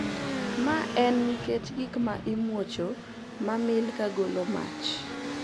Ma en nikech gik ma imwocho mamil kagolo mach,